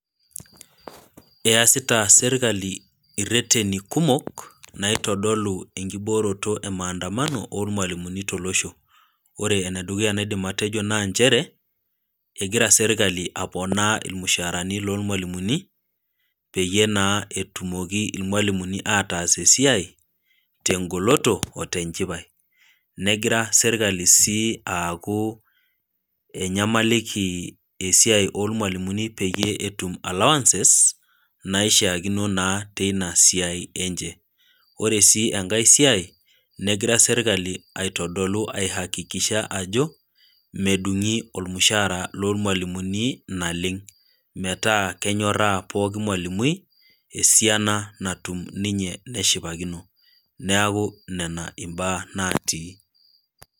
Easita sirkali ireteni kumok naitodolu enkibooroto emaandano ormwalimuni tolosho. Ore enedukuya naidim atejo naa nchere egira serkali aponaa irmushaarani lormwalimuni peyie naa etumoki irmwalimuni ataas esiai tegoloto otenchipai, negira sirlkali sii aaku enyamaliki esiai ormwalimuni peyie etum allowances naishiakino naa teina siai enche. Ore sii enkae siai negira sirkali aitodolu aihakikisha ajo medungi ormushaara lormwalimuni naleng metaa kenyoraa poki mwalimui esiana natum ninye neshipakino , niaku nena mbaa natii.